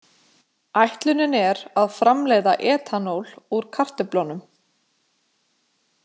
Ætlunin er að framleiða etanól úr kartöflunum.